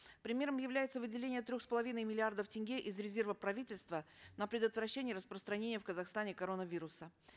примером является выделение трех с половиной миллиардов тенге из резерва правительства на предотвращение распространения в казахстане коронавируса